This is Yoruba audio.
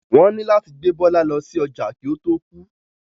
Wọ́n ní láti gbé Bọ́lá lọ sí ọjà kí ó tó kú.